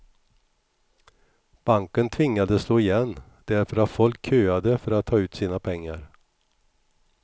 Banken tvingades slå igen därför att folk köade för att ta ut sina pengar.